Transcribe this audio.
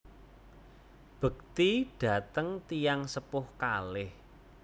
Bekti dateng tiyang sepuh kaleh